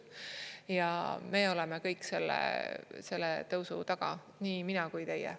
Ja me oleme kõik selle tõusu taga, nii mina kui teie.